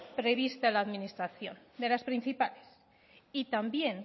prevista en la administración de las principales y también